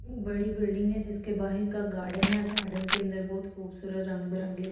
बड़ी बिल्डिंग है जिसके बाहर का गार्डन है गार्डन के अंदर बहुत खूबसूरत रंग बिरंगे फूल।